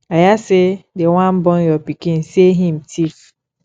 i hear say dey wan burn your pikin sey him thief